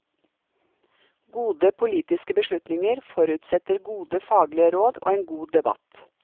Gode politiske beslutninger forutsetter gode faglige råd og en god debatt.